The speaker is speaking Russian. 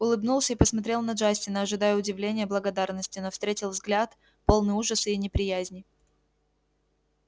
улыбнулся и посмотрел на джастина ожидая удивления благодарности но встретил взгляд полный ужаса и неприязни